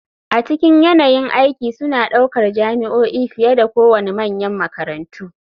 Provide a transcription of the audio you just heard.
A cikin yanayin aiki suna ɗaukar jami'o'i fiye da kowane manyan makarantu.